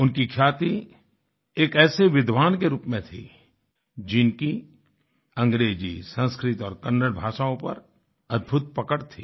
उनकी ख्याति एक ऐसे विद्वान के रूप में थी जिनकी अंग्रेज़ी संस्कृत और कन्नड़ भाषाओं पर अद्भुत पकड़ थी